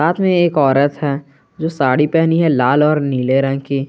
साथ में एक औरत है जो की साड़ी पहनी है लाल और नीले रंग की।